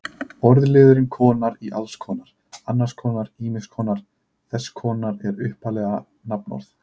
Orðliðurinn-konar í alls konar, annars konar, ýmiss konar, þess konar er upphaflega nafnorð.